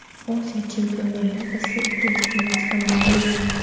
Osiyo Chempionlar Ligasida ikkinchi finalchi ham maʼlum bo‘ldi.